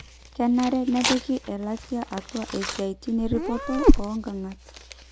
kenare nepiki elatia atua esiaia erripoto oonkang'at